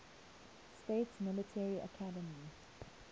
states military academy